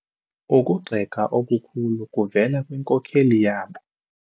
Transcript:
Ukugxeka okukhulu kuvele kwinkokeli yabo.